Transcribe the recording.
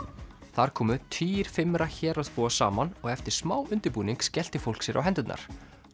þar komu tugir héraðsbúa saman og eftir smá undirbúning skellti fólk sér á hendurnar